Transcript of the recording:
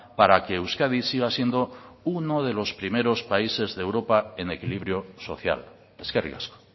para que euskadi siga siendo uno de los primeros países de europa en equilibrio social eskerrik asko